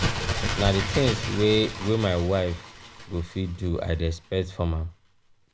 na di tins wey wey my wife go fit do i dey expect from am.